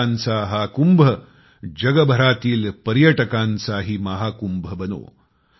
भाविकांचा हा कुंभ जगभरातील पर्यटकांचाही महाकुंभ बनो